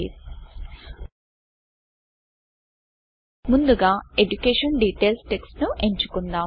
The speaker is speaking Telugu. ముందుగా ఎడ్యుకేషన్ DETAILSఎజుకేషన్ డీటేల్స్ టెక్స్ట్ ను ఎంచుకుందాం